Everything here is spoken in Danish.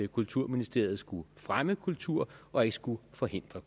kulturministeriet skulle fremme kultur og ikke skulle forhindre